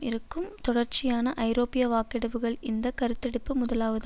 இருக்கும் தொடர்ச்சியான ஐரோப்பிய வாக்கெடுப்புகள் இந்த கருத்தெடுப்பு முதலாவதா